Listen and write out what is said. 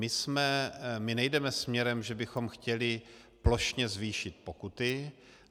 My nejdeme směrem, že bychom chtěli plošně zvýšit pokuty.